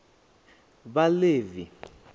vhaḽevi